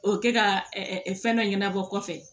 O kɛ ka fɛn dɔ ɲɛnabɔ kɔfɛ